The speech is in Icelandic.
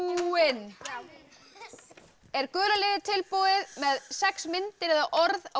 búinn er gula liðið tilbúið með sex myndir eða orð á